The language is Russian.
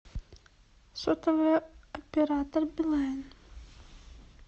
сотовый оператор билайн